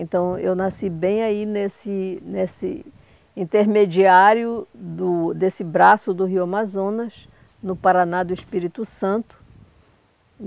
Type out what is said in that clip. Então, eu nasci bem aí nesse nesse intermediário do desse braço do Rio Amazonas, no Paraná do Espírito Santo.